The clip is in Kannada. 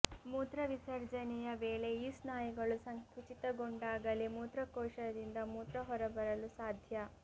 ಮೂತ್ರವಿಸರ್ಜನೆಯ ವೇಳೆ ಈ ಸ್ನಾಯುಗಳು ಸಂಕುಚಿತಗೊಂಡಾಗಲೇ ಮೂತ್ರಕೋಶದಿಂದ ಮೂತ್ರ ಹೊರಬರಲು ಸಾಧ್ಯ